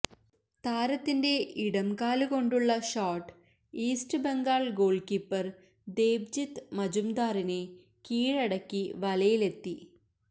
താരത്തിന്റെ ഇടംകാലുകൊണ്ടുള്ള shot East Bengal goalkeeper Debjit മജുംദാറിനെ കീഴടക്കി വലയിലെത്തി